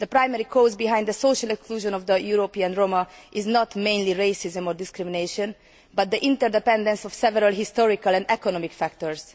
The primary cause of the social exclusion of the European Roma is not mainly racism or discrimination, but the interdependence of several historical and economic factors.